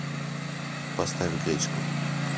поставь гречку